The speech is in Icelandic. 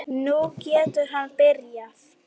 Nú getur hann byrjað.